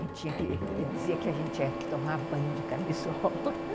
Ele dizia que a gente tinha que tomar banho de camisola.